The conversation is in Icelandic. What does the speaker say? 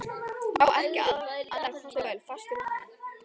Á ekki annarra kosta völ, fastur við hana.